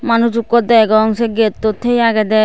manuj ekku degong say gettut tiye agede.